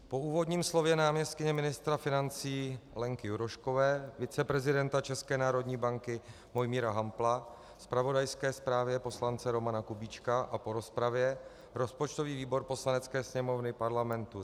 Po úvodním slově náměstkyně ministra financí Lenky Juroškové, viceprezidenta České národní banky Mojmíra Hampla, zpravodajské zprávě poslance Romana Kubíčka a po rozpravě rozpočtový výbor Poslanecké sněmovny Parlamentu